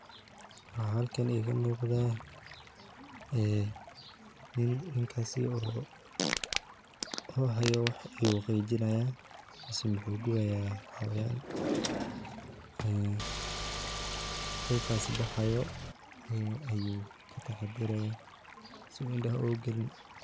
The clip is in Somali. Waxa halkan iga muqda nin, ninkas oo hayo wax ayu qijinayah mise wuxu gubayah xawayan, qiqas baxaya ayu kataxatarayah sii u indaha oga galin.